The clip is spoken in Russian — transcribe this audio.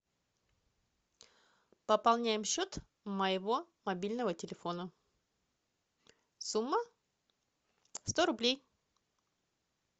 пополняем счет моего мобильного телефона сумма сто рублей